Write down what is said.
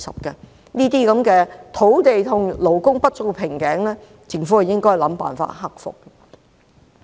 這些土地和勞工不足的瓶頸問題，政府應設法克服。